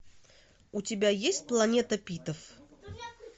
у тебя есть планета питов